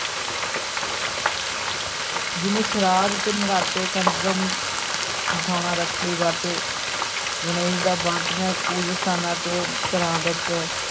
ਜਿਵੇਂ ਸ੍ਰਾਧ ਤੇ ਨਰਾਤੇ, ਕੰਜਕਾਂ ਬਿਠਾਉਣਾ, ਰੱਖੜੀ, ਵਰਤ, ਗਣੇਸ਼ ਦਾ ਵਰਤ ਜਾਂ ਪੂਜਾ ਸਥਾਨਾਂ ਤੇ ਘਰਾਂ ਵਿੱਚ